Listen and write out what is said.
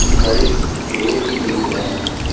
बड़े पैर भी दिख रहे हैं।